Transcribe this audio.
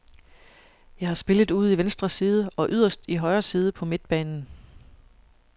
Jeg har spillet ude i venstre side og yderst i højre side på midtbanen.